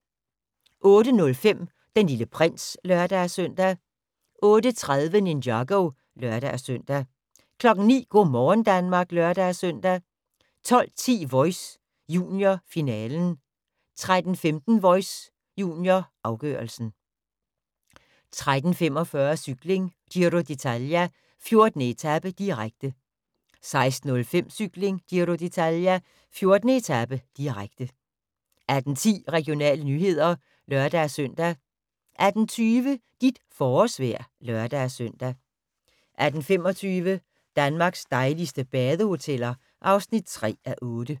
08:05: Den Lille Prins (lør-søn) 08:30: Ninjago (lør-søn) 09:00: Go' morgen Danmark (lør-søn) 12:10: Voice – junior, finalen 13:15: Voice – junior, afgørelsen 13:45: Cykling: Giro d'Italia, 14. etape, direkte 16:05: Cykling: Giro d'Italia, 14. etape, direkte 18:10: Regionale nyheder (lør-søn) 18:20: Dit forårsvejr (lør-søn) 18:25: Danmarks dejligste badehoteller (3:8)